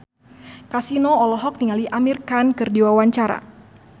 Kasino olohok ningali Amir Khan keur diwawancara